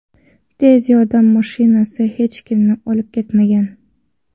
Tez yordam mashinasi hech kimni olib ketmagan.